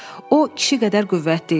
O kişi qədər qüvvətli idi.